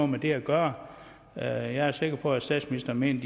med det at gøre jeg er sikker på at statsministeren mener